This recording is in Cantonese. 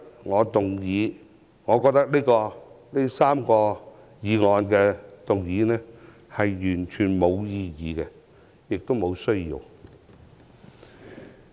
所以，我認為今天3項議案完全沒有意義，也沒有需要。